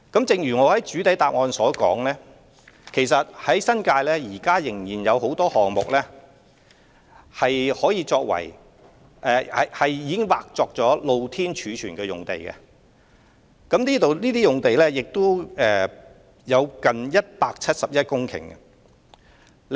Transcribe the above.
正如我在主體答覆中指出，新界現時仍有很多項目已劃出土地作"露天貯物"用途，這些用地有接近171公頃之多。